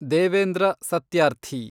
Devendra Satyarthi